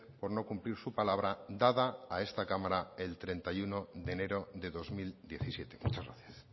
por no cumplir su palabra dada a esta cámara el treinta y uno de enero de dos mil diecisiete muchas gracias